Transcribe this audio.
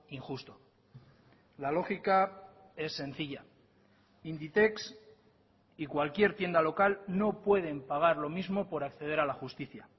injusto la lógica es sencilla inditex y cualquier tienda local no pueden pagar lo mismo por acceder a la justicia